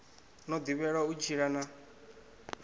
no ḓivhelwa u tshila na